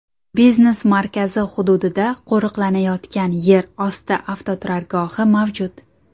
Biznes markazi hududida qo‘riqlanadigan yer osti avtoturargohi mavjud.